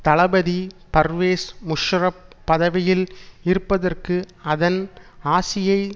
தளபதி பர்வேஸ் முஷாரஃப் பதவியில் இருப்பதற்கு அதன் ஆசியை